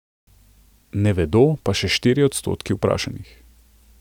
Ne vedo pa še štiri odstotki vprašanih.